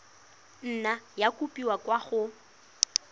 nna ya kopiwa kwa go